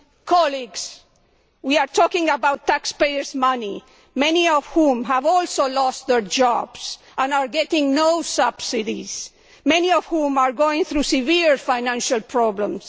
Colleagues, we are talking about taxpayers' money, many of whom have also lost their jobs and are getting no subsidies, many of whom are going through severe financial problems.